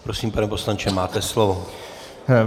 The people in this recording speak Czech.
Prosím, pane poslanče, máte slovo.